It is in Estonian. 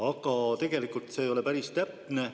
Aga tegelikult ei ole see päris täpne.